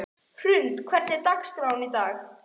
Hrund, hver er dagsetningin í dag?